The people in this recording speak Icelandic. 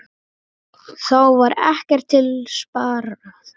Þá var ekkert til sparað.